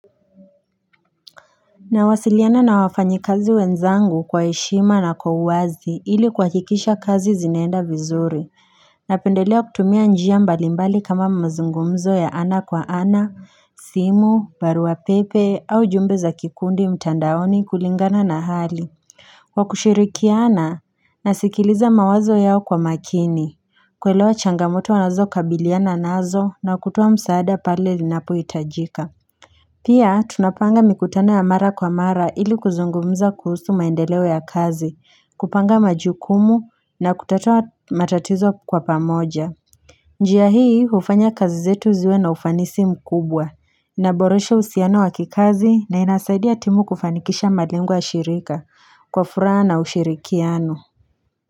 Nawasiliana na wafanyikazi wenzangu kwa heshima na kwa uwazi ili kuhakikisha kazi zinaenda vizuri Napendelea kutumia njia mbalimbali kama mazungumzo ya ana kwa ana, simu, baruapepe au jumbe za kikundi mtandaoni kulingana na hali Kwa kushirikiana nasikiliza mawazo yao kwa makini, kuelewa changamoto wanazokabiliana nazo na kutoa msaada pale linapohitajika Pia, tunapanga mikutano ya mara kwa mara ili kuzungumza kuhusu maendeleo ya kazi, kupanga majukumu na kutatua matatizo kwa pamoja. Njia hii, hufanya kazi zetu ziwe na ufanisi mkubwa. Naboresha uhusiano wa kikazi na ninasaidia timu kufanikisha malengo ya shirika kwa furaha na ushirikiano.